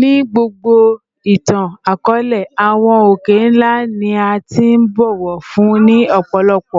Ni gbogbo itan-akọọlẹ, awọn oke-nla ni a ti bọwọ fun ni ọpọlọpọ